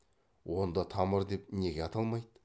онда тамыр деп неге аталмайды